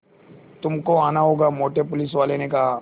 तुमको आना होगा मोटे पुलिसवाले ने कहा